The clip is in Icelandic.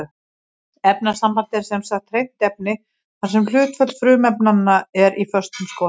Efnasamband er sem sagt hreint efni þar sem hlutföll frumefnanna er í föstum skorðum.